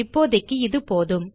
இப்போதைக்கு இது போதும்